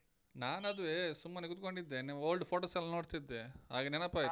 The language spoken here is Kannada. ನಾನ್ ಅದುವೇ ಸುಮ್ಮನೆ ಕೂತ್ಕೊಂಡಿದ್ದೆ ನಿವ್ old photos ಎಲ್ಲ ನೋಡ್ತಿದ್ದೆ, ಹಾಗ ನೆನಪಾಯ್ತು.